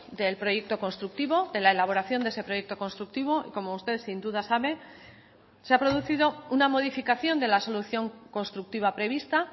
del proyecto constructivo de la elaboración de ese proyecto constructivo y como usted sin duda sabe se ha producido una modificación de la solución constructiva prevista